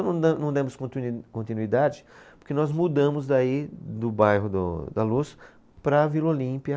Não da, não demos continui, continuidade, porque nós mudamos daí do bairro do da Luz para a Vila Olímpia,